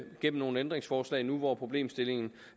gennem nogle ændringsforslag nu hvor problemstillingen